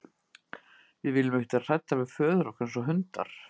Við viljum ekki vera hræddar við föður okkar eins og hundar.